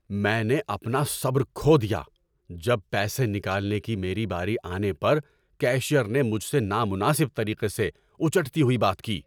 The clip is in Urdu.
میں نے اپنا صبر کھو دیا جب پیسے نکالنے کی میری باری آنے پر کیشیئرنے مجھ سے نامناسب طریقے سے اچٹتی ہوئی بات کی۔